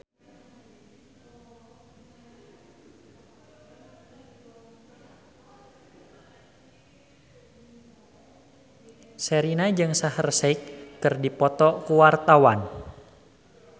Sherina jeung Shaheer Sheikh keur dipoto ku wartawan